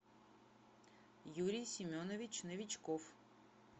юрий семенович новичков